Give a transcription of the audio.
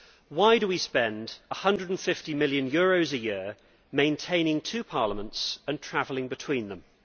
Why do we spend EUR 150 million a year maintaining two parliaments and travelling between them?